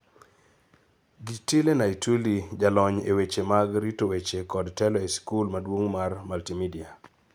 Gitile Naituli, jalony e weche mag rito weche kod telo e sikul maduong' mar Multimedia,